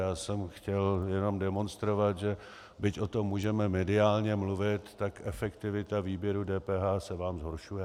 Já jsem chtěl jenom demonstrovat, že byť o tom můžeme mediálně mluvit, tak efektivita výběru DPH se vám zhoršuje.